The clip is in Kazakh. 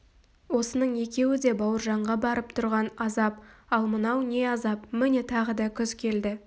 осының екеуі де бауыржанға барып тұрған азап ал мынау не азап міне тағы да күз келді